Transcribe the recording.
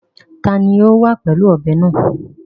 Ta ni ó wà pẹ̀lú ọ̀bẹ náà?